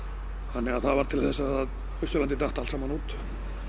þannig að það varð til þess að Austurlandið datt allt saman út